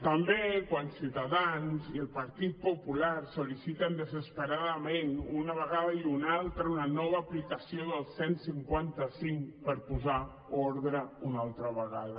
també quan ciutadans i el partit popular sol·liciten desesperadament una vegada i una altra una nova aplicació del cent i cinquanta cinc per posar ordre una altra vegada